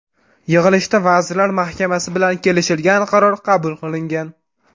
Yig‘ilishda Vazirlar Mahkamasi bilan kelishilgan qaror qabul qilingan.